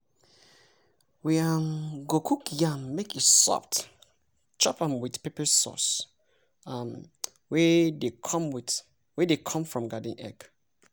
we um go cook yam make e soft chop am with pepper sauce um wey dey come from garden egg.